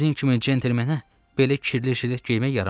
Sizin kimi centlmenə belə çirkli jilet geyilərmi?